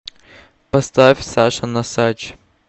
поставь саша носач